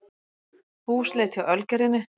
Húsleit hjá Ölgerðinni